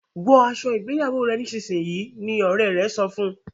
wò aṣọ ìgbéyàwó rẹ nísìsiyìí! ní òré rẹ sọfún.